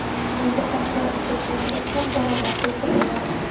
Uyda qahva ichib o‘tirib ham daromad qilsa bo‘ladi.